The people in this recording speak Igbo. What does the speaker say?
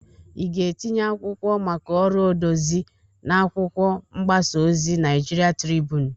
I ga-etinye akwụkwọ maka ọrụ odezi n'akwụkwọ mgbasa ozi Naịjịrịan Tribụnu?